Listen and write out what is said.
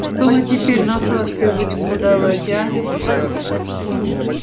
что мы теперь на сладкое будем подавать а